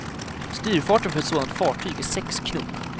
Styrfarten för ett sådant fartyg är sex knop.